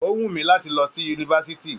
O wù mí láti lọ sí yunifásítì.